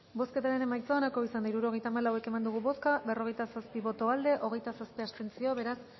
bozketaren emaitza onako izan da hirurogeita hamalau eman dugu bozka berrogeita zazpi boto aldekoa hogeita zazpi abstentzio beraz